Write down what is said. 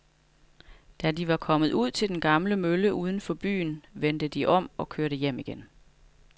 Da de var kommet ud til den gamle mølle uden for byen, vendte de om og kørte hjem igen.